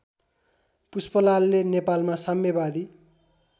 पुष्पलालले नेपालमा साम्यवादी